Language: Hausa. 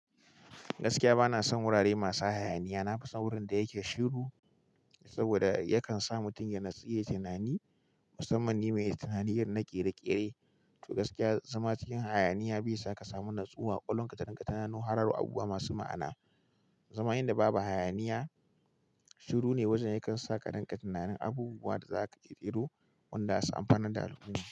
Gaskiya bana son wurare masu hayaniya. Na fi son wurin da yake shiru saboda yakan sa mutum ya natsu, ya yi tunani, musamman ni mai tunaniyar naƙe da ƙere. To gaskiya, zama cikin hayaniya bai sa ka samu natsuwa, ƙolon katankatana, ko harara abubuwa masu ma'ana. Zama inda babu hayaniya shiru ne wajen yakan sa ka danka tunanin abubuwan da za ka ƙere wanda za su amfana da al'uma.